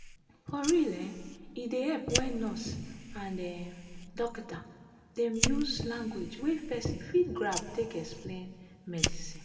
for real eh e dey epp wen nurse and um dokita dem use lanugauge wey pesin fit grab take explain medicine.